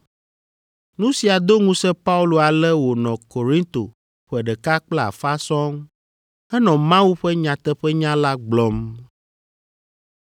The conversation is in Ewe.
Nu sia do ŋusẽ Paulo ale wònɔ Korinto ƒe ɖeka kple afã sɔŋ henɔ Mawu ƒe nyateƒenya la gblɔm.